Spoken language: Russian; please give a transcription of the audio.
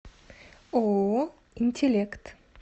ооо интеллект